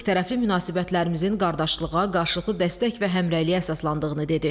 İkitərəfli münasibətlərimizin qardaşlığa, qarşılıqlı dəstək və həmrəyliyə əsaslandığını dedi.